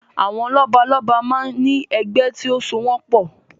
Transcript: Àwọn lọ́balọ́ba máa ń ní ẹgbẹ́ tí ó so wọn pọ̀